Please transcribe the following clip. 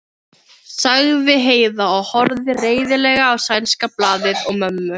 sagði Heiða og horfði reiðilega á sænska blaðið og mömmu.